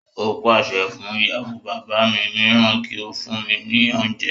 Ó pàṣẹ fún ìyàwó bàbá mi mìíràn kí ó fún mí ní oúnjẹ